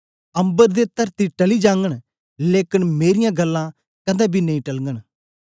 अम्बर ते तरती टली जागन लेकन मेरीयां गल्लां कदें बी नेई टलगन